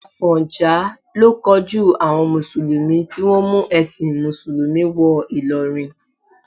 Àfọ̀njá ló kojú àwọn mùsùlùmí tí wọ́n mú ẹ̀sìn mùsùlùmí wọ Ìlọrin.